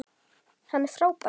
Hann er frábær.